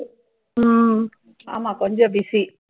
ஆமா, கொஞ்சம் busy